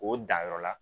O danyɔrɔ la